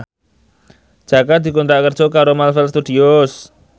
Jaka dikontrak kerja karo Marvel Studios